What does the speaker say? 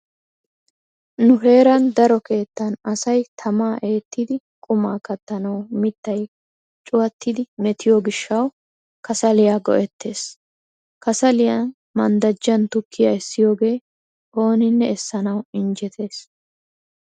Nu heeran daro keettan asay tamaa eettidi qumaa kattanawu mittayi cuwattidi metiyo gishshawu kasaliya go'ettees. Kasaliyan manddajjaani tukkiya essiyooge ooninne essanawu injjettees